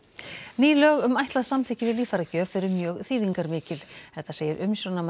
ný lög um ætlað samþykki við líffæragjöf eru mjög þýðingarmikil þetta segir umsjónarmaður